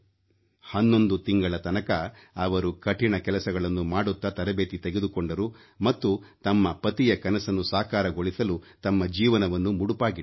ಹನ್ನೊಂದು ತಿಂಗಳ ತನಕ ಅವರು ಕಠಿಣ ಕೆಲಸಗಳನ್ನು ಮಾಡುತ್ತಾ ತರಬೇತಿ ತೆಗೆದುಕೊಂಡರು ಮತ್ತು ತಮ್ಮ ಪತಿಯ ಕನಸನ್ನು ಸಾಕಾರಗೊಳಿಸಲು ತಮ್ಮ ಜೀವನವನ್ನು ಮುಡಿಪಾಗಿಟ್ಟರು